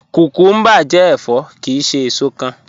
Kúkúmbà jẹ́ ẹ̀fọ́ kíì ṣè èṣò kán